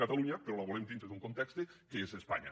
catalunya però la volem dintre d’un context que és espanya